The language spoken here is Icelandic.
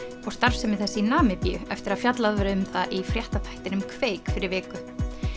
og starfsemi þess í Namibíu eftir að fjallað var um það í fréttaþættinum kveik fyrir viku